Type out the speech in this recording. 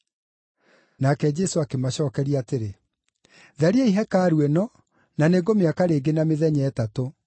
Nake Jesũ akĩmacookeria atĩrĩ, “Thariai hekarũ ĩno, na nĩngũmĩaka rĩngĩ na mĩthenya ĩtatũ.”